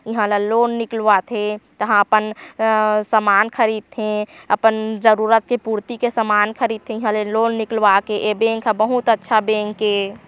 ईहा ला लोन निकलवाथे तहा अपन अअअ समान ख़रीदथे अपन जरुरत के पूर्ति के सामान ख़रीदथे ईहा ले लोन निकलवाके ए बैंक हा बहुत अच्छा बैंक ए--